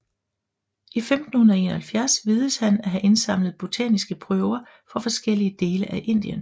I 1571 vides han at have indsamlet botaniske prøver fra forskellige dele af Indien